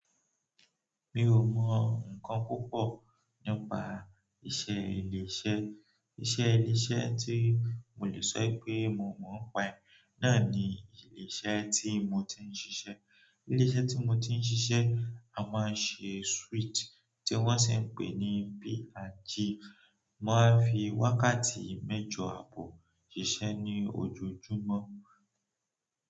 Mi ò mọ nǹkan púpọ̀ nípa iṣẹ́ ilé-iṣẹ́. Iṣẹ́ ilé-iṣẹ́ tí mo lè sọ pé mo mọ̀ ọ́n pa è, náà ni ilé iṣẹ́ tí mo ti ń ṣiṣẹ́. Ilé iṣẹ́ tí mo ti ń ṣiṣẹ́, a máa ń ṣe sweet tí wọ́n sì ń pè ní P&G. Mo maa ń fi wákàtí mẹ́jọ àbọ̀ sise ní ojojúmọ́.